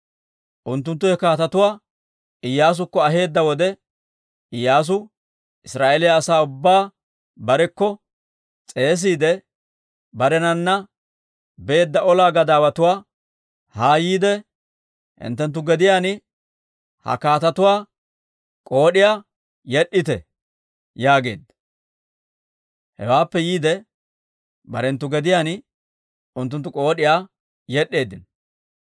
Unttunttu he kaatetuwaa Iyyaasukko aheedda wode, Iyyaasu Israa'eeliyaa asaa ubbaa barekko s'eesiide barenana beedda ola gadaawatuwaa, «Haa yiide hinttenttu gediyaan ha kaatetuwaa k'ood'iyaa yed'd'ite» yaageedda. Hewaappe yiide barenttu gediyaan unttunttu k'ood'iyaa yed'd'eeddino.